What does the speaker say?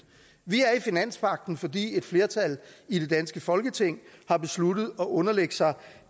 vi er i finanspagten fordi et flertal i det danske folketing har besluttet at underlægge sig